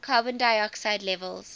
carbon dioxide levels